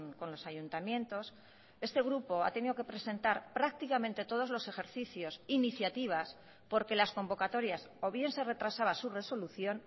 con los ayuntamientos este grupo ha tenido que presentar prácticamente todos los ejercicios iniciativas porque las convocatorias o bien se retrasaba su resolución